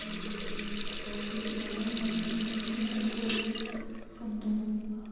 мм вроде на данный момент это один такой вандом